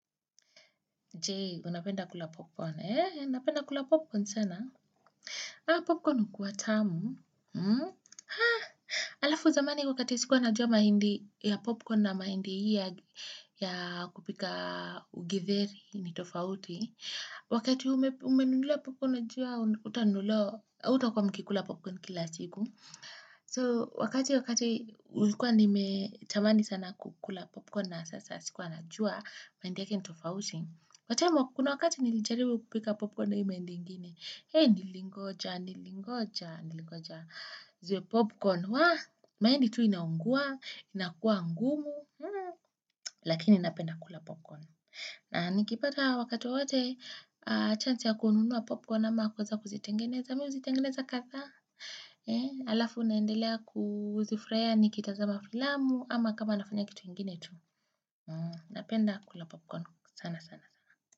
Je, unapenda kula popcorn, ee? Napenda kula popcorn sana Popcorn hukuwa tamu. Alafu zamani wakati sikuwa na jua mahindi ya popcorn na mahindi hii ya kupika githeri ni tofauti. Wakati umenu umenunuliwala popcorn na jua, hauta kuwa mkikula popcorn kila siku. So, wakati wakati hukuwa nimetamani sana kukula popcorn na sasa sikuwa na jua mahindi yake ni tofauti. But kuna wakati nilijaribu kupika popcorn na hii mahindi ngine hei nilingoja, nilingoja, nilingoja juu ya popcorn wah mahindi tu inaungua, inakuwa ngumu Lakini napenda kula popcorn na nikipata wakati wote chance ya kununua popcorn ama kwanza kuzitengeneza mimi huzitengeneza kadhaa Alafu naendelea kuzifurahia nikitazama filamu ama kama nafanya kitu ingine tu. Napenda kula popcorn sana sana.